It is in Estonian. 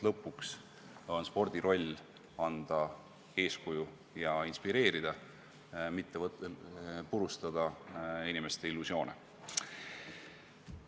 Lõpuks on spordi roll ju anda eeskuju ja inspireerida, mitte purustada inimeste illusioone.